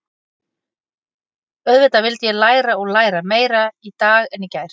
Auðvitað vildi ég læra og læra, meira í dag en í gær.